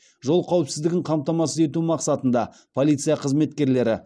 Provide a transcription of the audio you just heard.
жол қауіпсіздігін қамтамасыз ету мақсатында полиция қызметкерлері